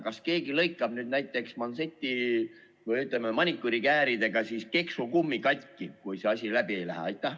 Kas keegi lõikab nüüd näiteks, ütleme, maniküürikääridega keksukummi katki, kui see asi läbi ei lähe?